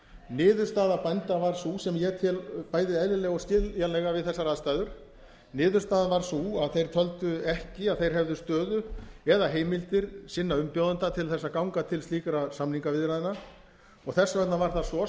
niðurstaða bænda varð sú sem ég tel bæði eðlilega og skiljanlega við þessar aðstæður niðurstaðan varð sú að þeir töldu ekki að þeir hefðu stöðu eða heimildir sinna umbjóðenda til þess að ganga til slíkra samningaviðræðna og þess vegna var það svo